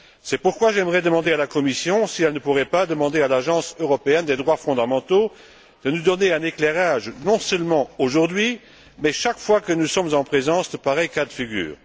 C'est pourquoi j'aimerais demander à la Commission si elle ne pourrait pas demander à l'Agence européenne des droits fondamentaux de nous apporter un éclairage, non seulement aujourd'hui, mais chaque fois que nous sommes en présence de pareils cas de figure.